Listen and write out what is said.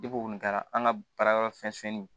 Depi o kɔni kɛra an ka baara yɔrɔ fɛnnin